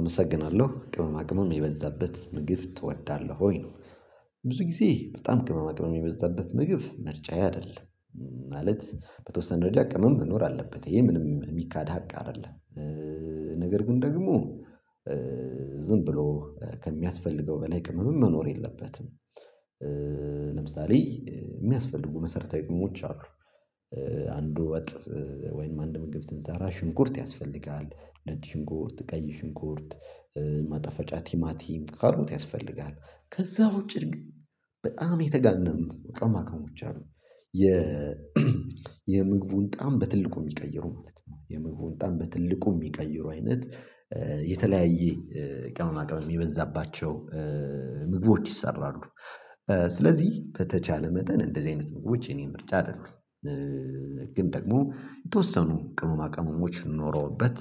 አመሰግናለሁ ቅመማ ቅመም የበዛበት ምግብ ትወዳለህ ወይ ነው? ብዙ ጊዜ በጣም ቅመማ ቅመም የሚበዛበት ምግብ ምርጫ አይደለም። ማለት በተወሰነ ደረጃ ቅመም መኖር አለበት ይሄ ምንም የሚካድ ሀቅ አይደለም። ነገር ግን ደግሞ ዝም ብሎ ከሚያስፈልገው በላይ ቅመም መኖር የለበትም። ለምሳሌ የሚያስፈልጉ መሰረታዊ ቅመሞች አሉ። አንዱ ወይም አንድ ምግብ ስንሰራ ሽንኩርት ያስፈልጋል ነጭ ሽንኩርት ቀይ ሽንኩርት ማጥዐፈጫ ቲማቲ ካሮት ያስፈልጋል ከዛ ውጪ ግን በጣም የተጋነኑ ቅመማ ቅመሞች አሉ። የምግቡን ጣዕም በትልቁ የሚቀይሩ ማለት ነው የምግቡን ጣዕም በትልቁ የሚቀይሩ አይነት የተለያየ ቅመማ ቅመም የበዛባቸው ምግቦች ይሰራሉ ስለዚህ በተቻለ መጠን እንደዚህ አይነት ምግቦች የኔን ምርጫ አይደሉም። ግን ደግሞ የተወሰኑ ቅመማ ቅመሞች ኖሮውበት